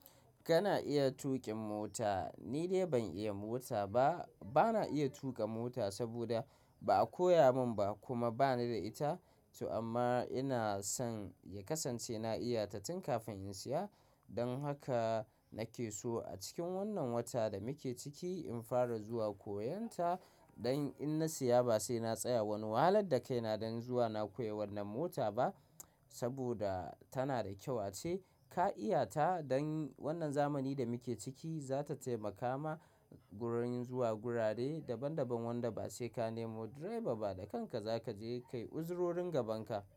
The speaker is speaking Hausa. Kana iya tuƙin mota. Ni dai ban iya mota ba. Bana iya tuƙa mota saboda ba a koya mun ba kuma bani da ita. Amma ina son ya kasance na iya ta tun kafin in saya. Dan haka nake so a cikin wannan watan da muke ciki in fara zuwa koyon ta, don in na siya ba sai na tsaya wani wahalar da kaina don zuwa na koyi wannan mota ba saboda tana da kyau ace. Ka iya ta don wannan zamani da muke ciki, zata taimaka ma gurori zuwa gurare daban daban wanda ba sai ka nemo direba ba da kanka za ka je ka yi uzurorin gaban ka.